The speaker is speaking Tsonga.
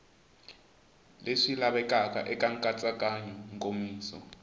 leswi lavekaka eka nkatsakanyo nkomiso